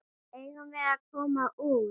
Eigum við að koma út?